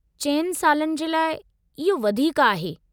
4 सालनि जे लाइ, इहो वधीकु आहे।